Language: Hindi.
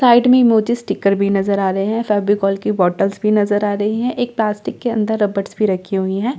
साइड में इमोजी स्टिकर भी नजर आ रहे हैं फैबिकॉल की बॉटल्स भी नजर आ रही हैं एक प्लास्टिक के अंदर रबर्स भी रखी हुई हैं।